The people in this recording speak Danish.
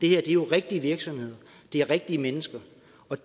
er jo rigtige virksomheder det er rigtige mennesker